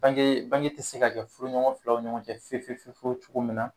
Bange bange tɛ se ka kɛ furuɲɔgɔn filaw ɲɔgɔn cɛ fefefefiewu cogo min na.